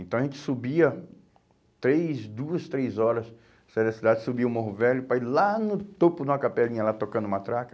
Então a gente subia três, duas, três horas, saía da cidade, subia o Morro Velho, para ir lá no topo de uma capelinha, lá tocando matraca.